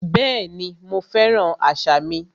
Bẹ́ẹ̀ni, mo fẹ́ràn àṣà mi